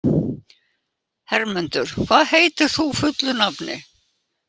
Hermundur, hvað heitir þú fullu nafni?